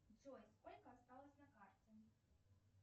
джой сколько осталось на карте